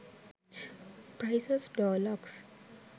prices door locks